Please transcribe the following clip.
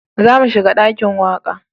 Za mu shiga dakin waƙa